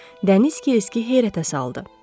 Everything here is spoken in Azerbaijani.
Dəniz Qeyski heyrətə saldı.